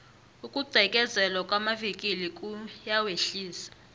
ukugqekezelwa kwamavikili kuyawehlisa